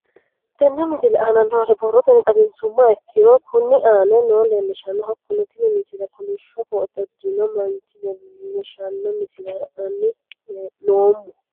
Tenne misile aana noore borrotenni xawisummoha ikirro kunni aane noore leelishano. Hakunno tinni misile koolishsho koote uddirinno manchi leelishshano misile la'anni noomo.